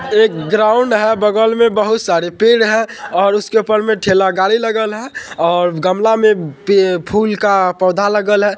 एक ग्राउन्ड है | बगल मे बहुत सारे पेड़ हैं और उसके उपर मे ठेला गाड़ी लगल है और गमला मे पे फूल का पोधा लगल है।